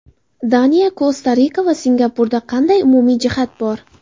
Daniya, Kosta-Rika va Singapurda qanday umumiy jihat bor?